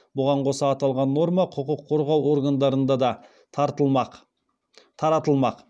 бұған қоса аталған норма құқық қорғау органдарында да таратылмақ